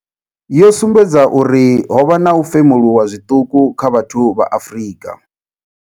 yo sumbedza uri ho vha na u femuluwa zwiṱuku kha vhathu vha Afrika.